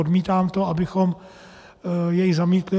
Odmítám to, abychom jej zamítli.